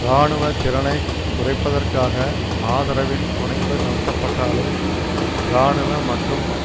இராணுவ திறனை குறைப்பதற்காக ஆதரவின் துணையுடன் நடத்தப்பட்டாலும் இராணுவ மற்றும்